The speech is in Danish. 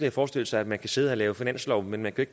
at forestille sig at man kan sidde og lave finanslov men man kan